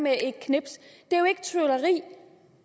med et knips det